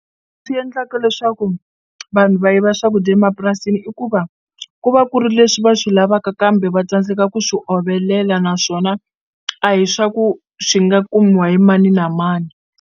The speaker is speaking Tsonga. Yendlaka leswaku vanhu va yiva swakudya emapurasini i ku va ku va ku ri leswi va swi lavaka kambe va tsandzeka ku swi ovelela naswona a hi swa ku swi nga kumiwa hi mani na mani.